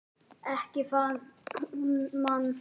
Ekki það hún man.